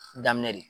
Daminɛ de